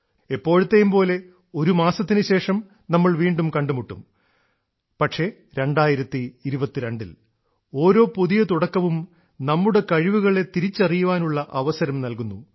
എപ്പോഴത്തേയുംപോലെ ഒരു മാസത്തിനുശേഷം നമ്മൾ വീണ്ടും കണ്ടുമുട്ടും പക്ഷേ 2022ൽ ഓരോ പുതിയ തുടക്കവും നമ്മളുടെ കഴിവുകളെ തിരിച്ചറിയുവാനുള്ള അവസരം നൽകുന്നു